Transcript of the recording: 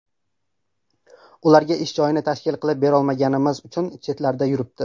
Ularga ish joyini tashkil qilib berolmaganimiz uchun chetlarda yuribdi.